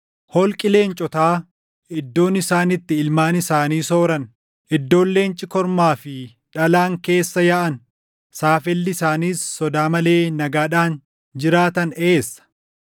Holqi leencotaa, iddoon isaan itti ilmaan isaanii sooran, iddoon leenci kormaa fi dhalaan keessa yaaʼan, saafelli isaanis sodaa malee nagaadhaan jiraatan eessa?